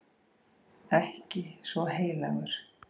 Ekki svo heilagur.